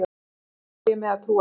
Bágt á ég með að trúa því.